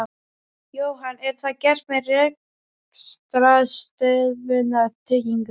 Jóhann: Er það gert með rekstrarstöðvunartryggingu?